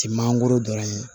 Ti mangoro dɔrɔn ye